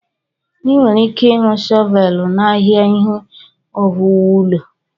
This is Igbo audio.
Ị nwere ike ịhụ shọvelu n'ahịa ihe owuwu ụlọ.